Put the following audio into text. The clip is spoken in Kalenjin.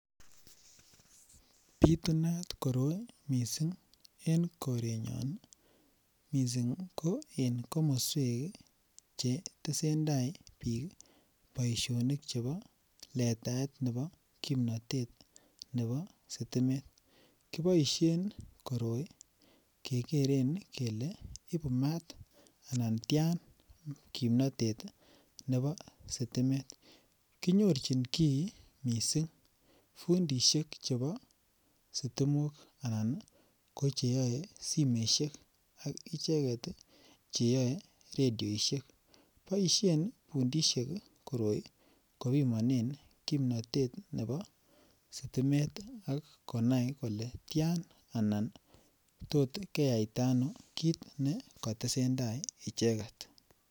Bitunat koroi mising eng korenyon, mising ko en komoswek che tesentai piik boisionik chebo letaet nebo kimnotet nebo sitimet, kiboisien koroi kekeren kele ibu maat anan tian kimnotet nebo sitimet. Kinyorchin kii mising fundiisiek chebo sitimok anan ko che yoe simesiek ak icheket ii che yoe rediosiek, boisien fundiisiek koroi kopimonen kimnotet nebo sitimet ak konai kole tian anan tot keyaita anon kiit ne katesentai kiit ne katesentai icheket.